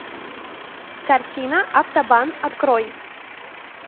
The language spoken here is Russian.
картина автобан открой